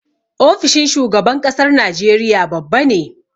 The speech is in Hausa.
Ofishin shugaban ƙasar Nigeria babba ne.